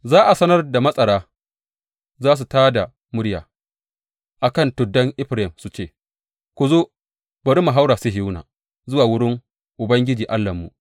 Za a yi ranar da matsara za su tā da murya a kan tuddan Efraim su ce, Ku zo, bari mu haura Sihiyona, zuwa wurin Ubangiji Allahnmu.’